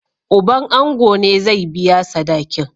Uban ango ne zai biya sadakin.